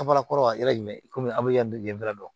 kɔrɔ ye yɔrɔ jumɛn komi an bɛ yan bɛrɛ